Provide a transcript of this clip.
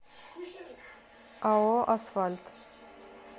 ао асфальт